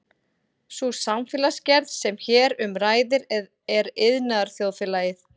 sú samfélagsgerð sem hér um ræðir er iðnaðarþjóðfélagið